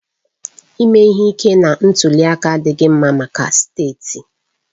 Ime ihe ike na ntuli aka adịghị mma maka steeti